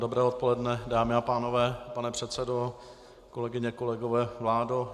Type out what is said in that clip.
Dobré odpoledne, dámy a pánové, pane předsedo, kolegyně, kolegové, vládo.